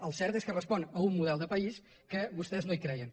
el cert és que respon a un model de país que vostès no hi creien